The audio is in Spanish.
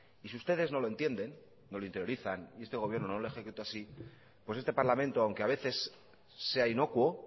y si ustedes no lo entienden no lo interiorizan y este gobierno no lo ejecuta así pues este parlamento aunque a veces sea inocuo